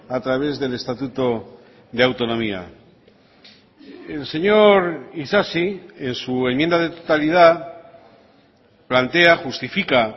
a través del estatuto de autonomía el señor isasi en su enmienda de totalidad plantea justifica